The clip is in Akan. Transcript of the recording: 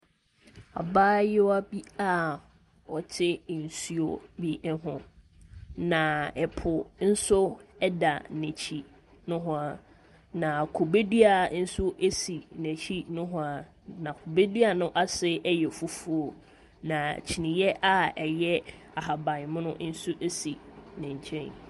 Abayewa bi a ɔte nsuo bi ho, na po nso da n'akyi nohoa, na kube dua nso si n'akyi nohoa, na kube dua no ase yɛ fufuo, na kyiniie a ɛyɛ ahaban mono nso si ne nkyɛn.